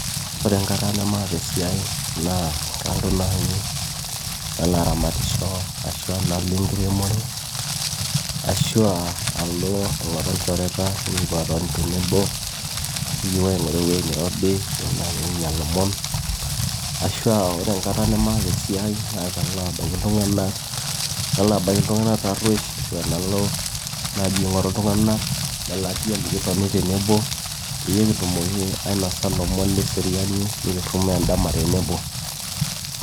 ore enkata nemaata esiai naa kalo naji nalo aramatisho ashua nalo enkiremore ashua alo aing'oru ilchoreta nikipuo atoni tenebo nikipuo aing'oru ewueji nirobi nikinyia ilomon ashua ore enkata nemaata esiai naa kalo abaiki iltung'anak nalo, nalo abaiki iltung'anak tarruesh ashua nalo naji aing'oru iltung'anak lelatia likitoni tenebo peyie kitumoki ainosa ilomon leseriani nikirrumoo endama tenebo.